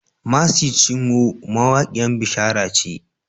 Mercy Chinwo mawaƙiyan bishara ce.